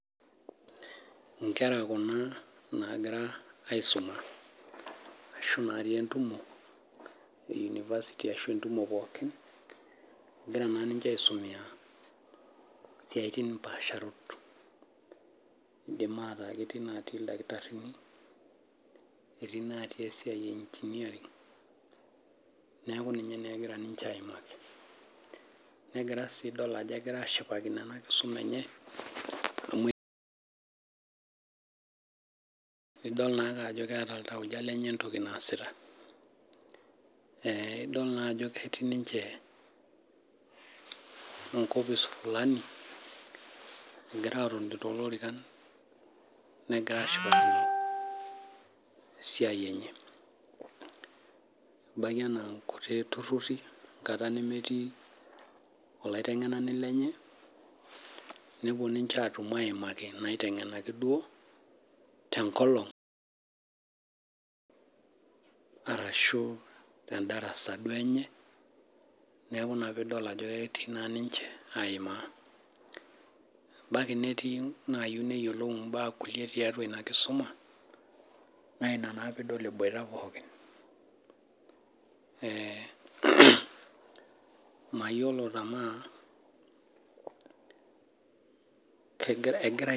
Inkera kuna naakira aisuma arashu inatii entumo ee university ashu entumo pookin. Ekira naa ninche aisomiya isiatin paasharot. Indim aata ketii inaatii ildakitarrini, etii inaatii esiai e engineering, neeku ninye naa ekira ninche aimaki. Nekira sii idol ajo ekira aashipakino ena kisuma enye, amu idol naake ajo keeta iltauja lenye entoki naasita. Idol naa ajo ketii ninche enkopis fulani egira aatoni toolorikan, nekira aashipakino esiai enye. Ebaiki enaa inkuti turruri enkata nemetii oloitengenani lenye, nepuo ninche aatumo aimaki inaitengenaki duo, tenkolong, arashu tendarasa duo enye, neeku inia pee idol ajo ketii naa ninche aimaa. Ebaiki netii inaayieu neyiolou imbaa kulie tiatua ina kisuma, naa inia naa pee idol eboita pookin. Mayiolo tenaa egirae